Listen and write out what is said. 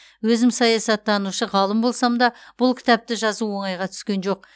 өзім саясаттанушы ғалым болсам да бұл кітапты жазу оңайға түскен жоқ